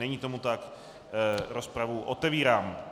Není tomu tak, rozpravu otevírám.